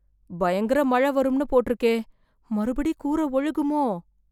பயங்கர மழை வரும்னு போட்டிருக்கே, மறுபடி கூரை ஒழுகுமோ